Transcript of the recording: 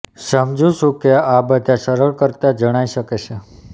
સમજું છું કે આ બધા સરળ કરતાં જણાય શકે છે